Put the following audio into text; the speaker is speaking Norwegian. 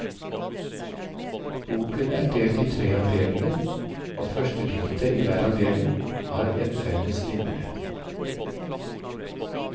Boken er delt i tre avdelinger, og førstediktet i hver avdeling har en felles linje.